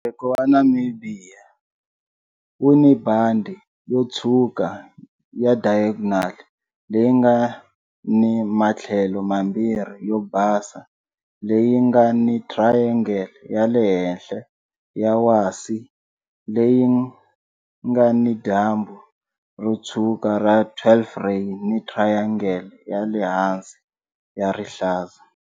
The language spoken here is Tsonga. Mujeko wa Namibia wu ni bandhi yo tshwuka ya diagonal leyi nga ni matlhelo mambirhi yo basa leyi nga ni triangle ya le henhla ya wasi leyi nga ni dyambu ro tshwuka ra 12-ray ni triangle ya le hansi ya rihlaza.